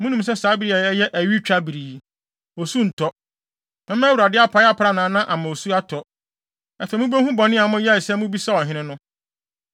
Munim sɛ saa bere yi a ɛyɛ awitwabere yi, osu ntɔ. Mɛma Awurade apae aprannaa na ama osu atɔ. Afei mubehu bɔne a moyɛe sɛ mobisaa ɔhene no.”